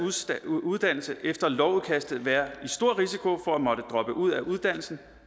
uddannelse efter lovudkastet være i stor risiko for at måtte droppe ud af uddannelsen